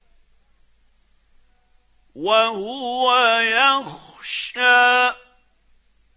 وَهُوَ يَخْشَىٰ